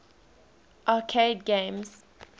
arcade games